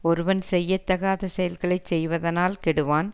ஒருவன் செய்யத்தகாத செயல்களை செய்வதனால் கெடுவான்